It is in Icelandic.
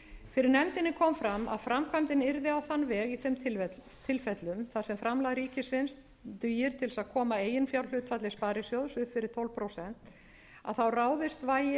fyrir nefndinni kom fram að framkvæmdin yrði á þann veg í þeim tilfellum þar sem framlag ríkisins dugir til að koma eiginfjárhlutfalli sparisjóðs upp fyrir tólf prósent þá ráðist vægi